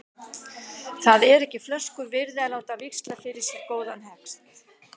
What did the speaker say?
Það er ekki flösku virði að láta víxla fyrir sér góðan hest.